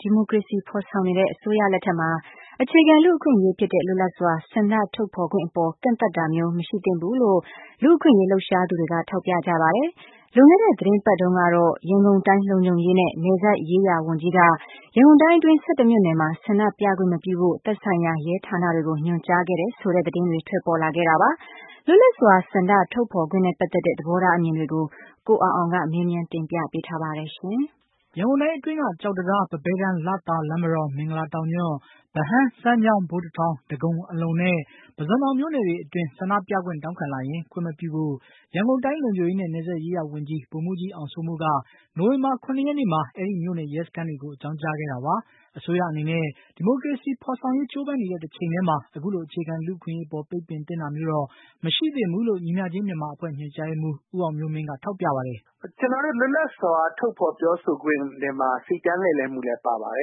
ဒီမိုကရေစီဖေါ်ဆောင်နေတဲ့ အစိုးရလက်ထက်မှာ အခြေခံလူ့အခွင့်အရေးဖြစ်တဲ့ လွတ်လပ်စွာ ဆန္ဒထုတ်ဖေါ်ခွင့်အပေါ် ကန့်သတ်တာမျိုး မရှိသင့်ဘူးလို့ လူ့အခွင့်အရေး လှုပ်ရှားသူတွေက ထောက်ပြကြပါတယ်။ လွန်ခဲ့တဲ့ သီတင်းပတ်တုန်းကတော့ ရန်ကုန်တိုင်း လုံခြုံရေးနဲ့ နယ်စပ်ရေးရာဝန်ကြီးက ရန်ကုန်တိုင်းအတွင်းက ၁၁ မြို့နယ်မှာ ဆန္ဒပြခွင့် မပြုဖို့ သက်ဆိုင်ရာ ရဲဌာနတွေကို ညွှန်ကြားခဲ့တယ်ဆိုတဲ့ သတင်းတွေ ထွက်ပေါ်ခဲ့တာပါ။ လွတ်လပ်စွာ ဆန္ဒထုတ်ဖေါ်ခွင့်နဲ့ ပတ်သတ်တဲ့ သဘောထားအမြင်တွေကို ကိုအောင်အောင်က မေးမြန်းတင်ပြပေးထားပါတယ်။ ရန်ကုန်တိုင်းအတွင်းက ကျောက်တံတား၊ ပန်းဘဲတန်း၊ လသာ၊ လမ်းမတော်၊ မင်္ဂလာတောင်ညွန့်၊ ဗဟန်း၊ စမ်းချောင်း၊ ဗိုလ်တထောင်၊ ဒဂုံ၊ အလုံနဲ့ ပုဇွန်တောင်မြို့နယ်တွေအတွင်း ဆန္ဒပြခွင့်တောင်းခံလာရင် ခွင့်မပြုဖို့ ရန်ကုန်တိုင်း လုံခြုံရေးနဲ့ နယ်စပ်ရေးရာဝန်ကြီး ဗိုလ်မှုးကြီးအောင်စိုးမိုးက နိုဝင်္ဘာ ၇ ရက်နေ့မှာ အဲဒီမြို့နယ် ရဲစခန်းတွေကို အကြောင်း ကြားခဲ့တာပါ။ အစိုးရအနေနဲ့ ဒီမိုကရေစီဖေါ်ဆောင်ရေး ကြိုးပမ်းနေတဲ့ တချိန်တည်းမှာ အခုလို အခြေခံ လူ့အခွင့်အရေးအပေါ် ပိတ်ပင်သင့်တာမျိုးတော့ မရှိသင့်ဘူးလို့ ညီမျှခြင်းမြန်မာအဖွဲ့ ညွှန်ကြားရေးမှူး ဦးအောင်မျိုးမင်းက ထောက်ပြပါတယ်။ " ကျနော်တို့ လွတ်လပ်စွာထုတ်ဖော်ပြောဆိုခွင့်ထဲမှာ စီတန်းလှည့်လည်ခွင့်လည်း ပါပါတ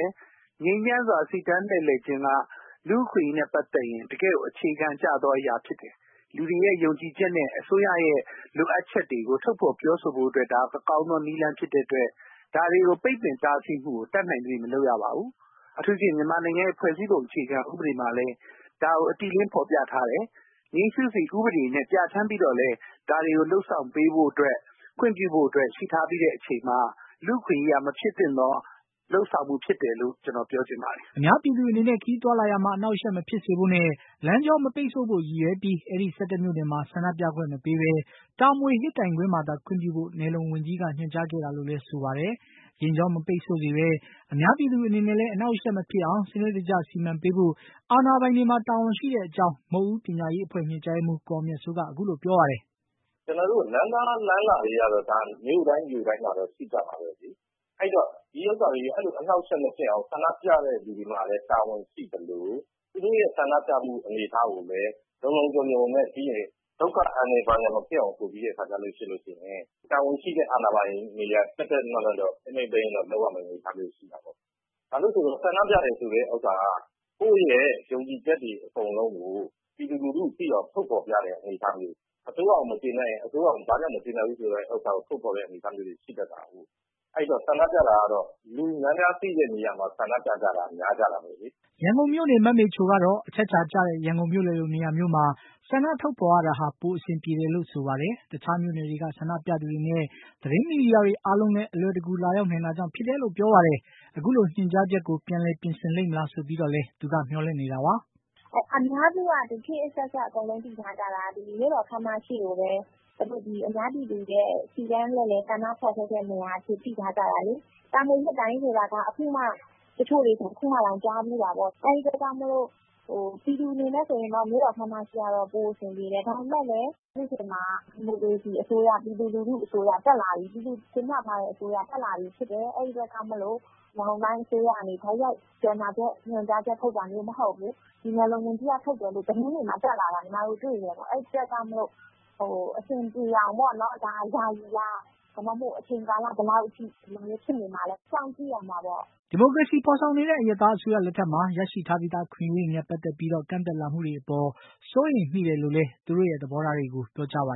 ယ် ငြိမ်းချမ်းစွာစီတန်းလှည့်လည်ခြင်းက လူ့အခွင့်အရေးနဲ့ပတ်သက်ပြီး တကယ့်ကို အခြေခံကျတော့ အရာဖြစ်တယ် လူတွေရဲ့ယုံကြည်ချက်နဲ့ အစိုးရရဲ့ လိုအပ်ချက်တွေကို ထုတ်ဖော်ပြောဆိုဖို့အတွက် ဒါ ကောင်းတဲ့နည်းလမ်းဖြစ်တဲ့အတွက် ဒါတွေကို ပိတ်ပင်တားဆီးမှုကို တတ်နိုင်သရွေ့ မလုပ်ရပါဘူး။ အထူးသဖြင့် မြန်မာနိုင်ငံရဲ့ ဖွဲ့စည်းပုံအခြေခံဥပဒေမှာလည်း ဒါကို အတိအလင်းဖော်ပြထားတယ် ငြိမ်းစုစီ ဥပဒေကိုပြဋ္ဌာန်းပြီးတော့လည်း ဒါတွေကို လုပ်ဆောင်ပေးဖို့ ခွင့်ပြုဖို့အတွက် ရှိထားပြီးချိန်မှာ လူ့အခွင့်အရေးအရ မဖြစ်သင့်သော လုပ်ဆောင်မှုဖြစ်တယ်လို့ ကျနော်ပြောချင်ပါတယ်။" အများပြည်သူအနေနဲ့ ခရီးသွားလာရာမှာ အနှောက်အယှက်မဖြစ်စေဘို့နဲ့ လမ်းကြော မပိတ်ဆို့ဖို့ရည်ရွယ်ပြီး အဲဒီ ၁၁ မြို့နယ်မှာ ဆန္ဒပြခွင့်မပေးပဲ တာမွေ ဟစ်တိုင်ကွင်းမှာသာ ခွင့်ပြုဖို့ နယ်လုံဝန်ကြီးက ညွှန်ကြားခဲ့တာလို့လည်း ဆိုပါတယ်။ ယာဉ်ကြော မပိတ်ဆို့စေပဲ အများပြည်သူအနေနဲ့လည်း အနှောက်အယှက်မဖြစ်အောင် စနစ်တကျ စီမံပေးဖို့ အာဏာပိုင်တွေမှာ တာဝန်ရှိတဲ့အကြောင်း မုခ်ဦးပညာရေးအဖွဲ့ ညွှန်ကြားရေးမှုး ကိုအောင်မြတ်စိုးက ပြောပါတယ်။ "ကျနော်တို့ လမ်းသွားလမ်းလာတွေကတော့ မြို့တိုင်း နယ်တိုင်းမှာ ရှိကြပါတယ် အဲ့တော့ အဲ့တာတွေ အနှောင့်အယှက်မဖြစ်အောင် ဆန္ဒပြတဲ့သူတွေမှာလည်း တာဝန်ရှိသလို သူတို့ရဲ့ ဆန္ဒပြမှုအနေအထားကိုလည်း လုံလုံခြုံခြုံနဲ့ ဒုက္ခအန္တရာယ်မဖြစ်အောင် တာဝန်ရှိတဲ့ အာဏာပိုင်တွေအနေနဲ့ ထိန်းထိန်းသိမ်းသိမ်း လုပ်ရမယ့် အနေအထားမျိုးတော့ ရှိပါတယ်။ ဘာဖြစ်လို့လဲဆိုတော့ ဆန္ဒပြတယ်ဆိုတဲ့ဥစ္စာက ကိုယ့်ရဲ့ ယုံကြည်ချက်တွေအကုန်လုံးကို ပြည်သူလူထုကိုသိအောင် ထုတ်ဖော်ပြတာ အစိုးရကို မကျေနပ်ရင် အစိုးရကိုဘာကြောင့်မကျေနပ်ဘူးလည်း ထုတ်ဖော်ပြသတဲ့ အနေအထားမျိုးဖြစ်တာကိုး အဲ့ဒီ့တော့ ဆန္ဒပြတယ်ဆိုတာ လူများများသိတဲ့နေရာတွေမှာ ဆန္ဒပြကြတာပဲလေ။" ရန်ကုန်မြို့နေ မမေချိုကတော့ အချက်အချာကျတဲ့ ရန်ကုန်မြို့လည်လို နေရာမျိုးတွေမှာ ဆန္ဒပြထုတ်ဖေါ်ရတာဟာ ပိုအဆင်ပြေတယ်လို့ပြောပါတယ်။ တခြားမြို့နယ်တွေက ဆန္ဒပြသူတွေနဲ့ သတင်းမီဒီယာတွေအားလုံးလည်း အလွယ်တကူ လာရောက်နိုင် တာကြောင့် ဖြစ်တယ်လို့ဆိုပါတယ်။ အခုလို ညွှန်ကြားချက်ကို ပြန်လည်ပြင်ဆင်လိမ့်မလား ဆိုပြီးတော့လည်း သူက မျှော်လင့်နေတာပါ။ " အများစုက သိထားကြတာက ခေတ်အဆက်ဆက်က မြို့တော်ခမ်းမရှေ့ကိုပဲ စီတန်းလှည့်လည် ဆန္ဒဖော်ထုတ်တဲ့နေရာလို့သိထားကြတာလေ တာမွေဟစ်တိုင် ဆိုတာက တချို့တွေဆို အခုမှတောင် ကြားဖူးတာပေါ့ အဲ့ဒီ့အတွက်ကြောင့်မို့ ပြည်သူတယောက်အနေနဲ့ဆိုရင်တော့ မြို့တော်ခမ်းမရှေ့ပိုအဆင်ပြေတယ်။ ဒါပေမဲ့လည်း အခုအချိန်မှာက ပြည်သူအစိုးရ ဒီမိုကရေစီအစိုးရဆိုတော့ ပြည်သူက တင်မြှောက်ထားတဲ့အစိုးရ ဖြစ်လာပြီဖြစ်တယ် ဆိုတော့ အခုက ရန်ကုန်တိုင်းအစိုးရကနေ တိုက်ရိုက်ညွှန်ကြားချက်ထွက်တာမဟုတ်ဘူး ဒါက နယ်လုံဝန်ကြီးက ထုတ်တယ်လို့ သတင်းတွေမှာ တက်လာတယ် အဲ့ဒီ့အတွက်ကြောင့်မို့ အဆင်ပြေအောင်ပေါ့နော် ဒါဟာ ယာယီလား အချိန်ကာလဘယ်လောက်ကြာတဲ့အထိဖြစ်နေမှာလဲစောင့်ကြည့်ရမှာပေါ့။" ဒီမိုကရေစီဖေါ်ဆောင်နေတဲ့ အရပ်သားအစိုးရလက်ထက်မှာ ရရှိထားပြီးသား အခွင့်အရေးတွေနဲ့ ပတ်သတ်ပြီး ကန့်သတ်လာမှုတွေအပေါ် စိုးရိမ်မိတယ်လို့လည်း သူတို့ရဲ့ သဘောထားတွေကို ပြောကြားပါ